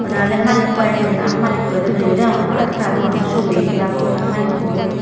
da oley malikko agey ni nei aa malikko re daw noyo degongor adaw ta doganno sur guri hey dibakkoi aa malikko hoi.